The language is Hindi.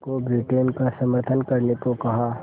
को ब्रिटेन का समर्थन करने को कहा